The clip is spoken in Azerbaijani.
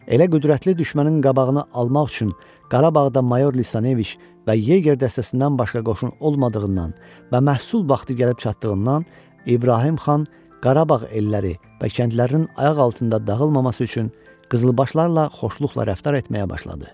Elə qüvvətli düşmənin qabağını almaq üçün Qarabağda Mayor Lisanoviç və Yege dəstəsindən başqa qoşun olmadığından və məhsul vaxtı gəlib çatdığından İbrahim xan Qarabağ elləri və kəndlərinin ayaq altında dağılmaması üçün Qızılbaşlarla xoşluqla rəftar etməyə başladı.